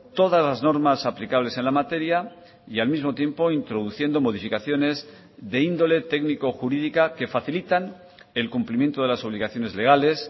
todas las normas aplicables en la materia y al mismo tiempo introduciendo modificaciones de índole técnico jurídica que facilitan el cumplimiento de las obligaciones legales